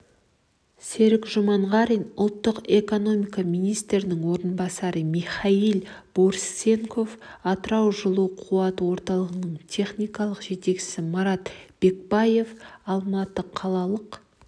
серік жұманғарин ұлттық экономика министрінің орынбасары михаил борисенко атыраужылуқуат орталығының техникалық жетекшісі марат бекбаев алматы қалалық